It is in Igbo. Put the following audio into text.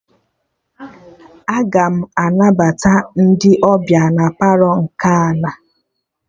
Aga m anabata ndị ọbịa na Palọ nke ana